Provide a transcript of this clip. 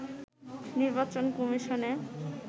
নির্বাচন কমিশনে